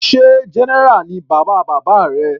Sé general ni bàbá bàbá rẹ.